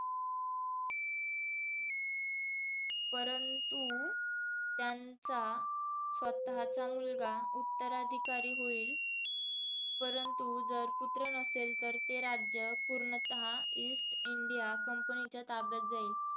परंतु त्यांचा स्वतःचा मुलगा उत्तराधिकारी होईल, परंतु जर पुत्र नसेल तर ते राज्य पूर्णतः ईस्ट इंडिया कंपनीच्या ताब्यात जाईल.